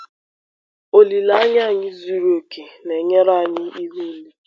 Olileanya anyị zuru oke na-enyere anyị ihu ule.